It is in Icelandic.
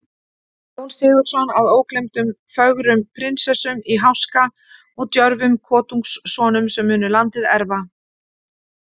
Jón Sigurðsson, að ógleymdum fögrum prinsessum í háska og djörfum kotungssonum, sem munu landið erfa.